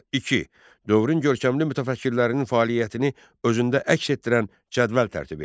2. Dövrün görkəmli mütəfəkkirlərinin fəaliyyətini özündə əks etdirən cədvəl tərtib et.